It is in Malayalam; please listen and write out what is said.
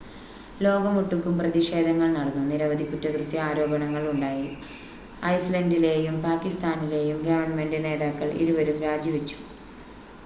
ലോകമൊട്ടുക്കും പ്രതിഷേധങ്ങൾ നടന്നു നിരവധി കുറ്റകൃത്യ ആരോപണങ്ങൾ ഉണ്ടായി ഐസ്ലൻ്റിലെയും പാക്കിസ്ഥാനിലെയും ഗവൺമെൻ്റ് നേതാക്കൾ ഇരുവരും രാജിവെച്ചു